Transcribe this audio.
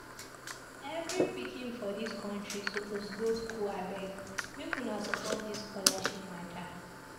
Every pikin for dis country suppose go school abeg make una support dis scholarship mata.